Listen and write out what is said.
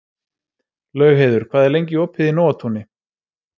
Laugheiður, hvað er lengi opið í Nóatúni?